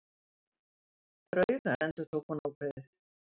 Draugar endurtók hún ákveðið.